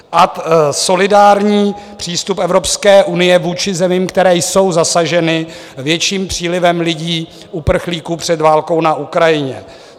Ad solidární přístup Evropské unie vůči zemím, které jsou zasaženy větším přílivem lidí - uprchlíků před válkou na Ukrajině.